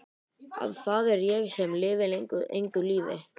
Að það er ég sem lifi engu lífi.